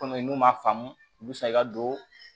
Kɔmi n'u m'a faamu u bɛ sɔn i ka don